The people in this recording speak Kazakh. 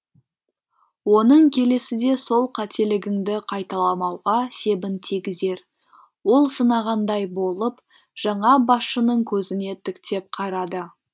оның келесіде сол қателігіңді қайталамауға себін тигізер ол сынағандай болып жаңа басшының көзіне тіктеп қарады